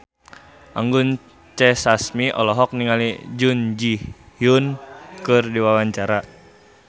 Anggun C. Sasmi olohok ningali Jun Ji Hyun keur diwawancara